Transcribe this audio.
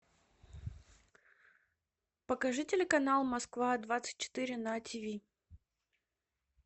покажи телеканал москва двадцать четыре на тв